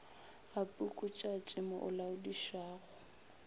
ga pukutšatši mo o laodišago